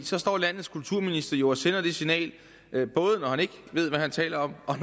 så står landets kulturminister jo og sender det signal både når han ikke ved hvad han taler om og